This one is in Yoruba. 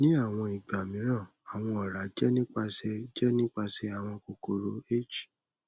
ni awọn igba miiran awọn ọra jẹ nipasẹ jẹ nipasẹ awọn kokoro h